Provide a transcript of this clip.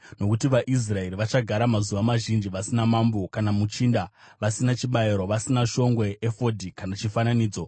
Nokuti vaIsraeri vachagara mazuva mazhinji vasina mambo kana muchinda, vasina chibayiro, vasina shongwe, efodhi kana chifananidzo.